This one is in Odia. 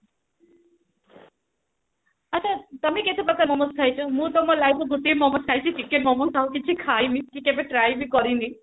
ଆଚ୍ଛା ତମେ କେତେ ପ୍ରକାରେ ମୋମୋସ ଖାଇଛ ମୁଁ ତ ମୋ life ରେ ଗୋଟିଏ ମୋମୋସ ଖାଇଛି chicken ମୋମୋ ଆଉ କିଛି ଖଇନି କି କେବେ try ବି କରିନି